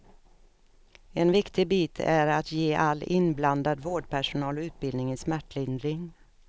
En viktig bit är att ge all inblandad vårdpersonal utbildning i smärtlindring.